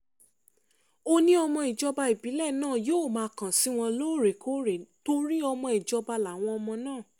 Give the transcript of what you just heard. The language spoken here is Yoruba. ó ní ìjọba ìbílẹ̀ náà yóò máa kàn sí wọn lóòrèkóòrè torí ọmọ ìjọba làwọn ọmọ náà